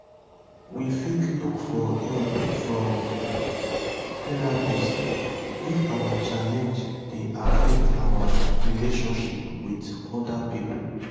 we fit look for help from therapist if our challenge dey affect our relationship with oda pipo